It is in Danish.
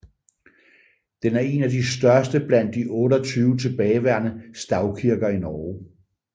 Den er en af de største blandt de 28 tilbageværende stavkirker i Norge